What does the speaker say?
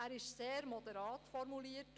Er ist sehr moderat formuliert.